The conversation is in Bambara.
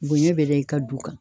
Bonɲɛ bɛɛ bɛ i ka du kan.